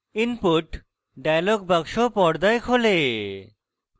input dialog box পর্দায় খোলে